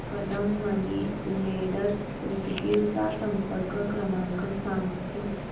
Kadam money lenders Udgir चा संपर्क क्रमांक सांग प्लीज